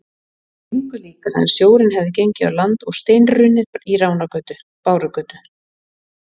Engu líkara en sjórinn hefði gengið á land og steinrunnið í Ránargötu, Bárugötu